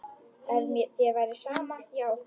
Ef þér væri sama, já.